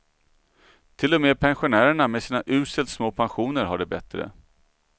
Till och med pensionärerna med sina uselt små pensioner har det bättre.